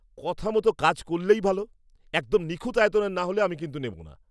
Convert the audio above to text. কথা মতো কাজ করলেই ভালো। একদম নিখুঁত আয়তনের না হলে আমি কিন্তু নেবো না।